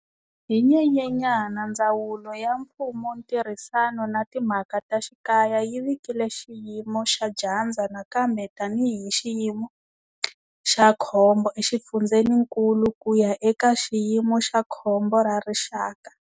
Hi Nyenyenyana, Ndzawulo ya Mfumontirhisano na Timhaka ta Xikaya yi vikile xiyimo xa dyandza nakambe tanihi xiyimo xa khombo exifundzeninkulu ku ya eka xiyimo xa khombo ra rixaka.